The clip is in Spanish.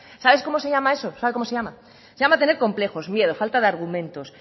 sabe cómo se llama eso sabe cómo se llama se llama tener complejos miedo falta de argumentos